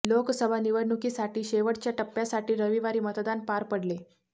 लोकसभा निवडणुकीसाठी शेवटच्या टप्प्यासाठी रविवारी मतदान पार पडले